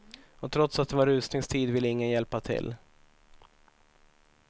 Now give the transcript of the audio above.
Och trots att det var rusningstid ville ingen hjälpa till.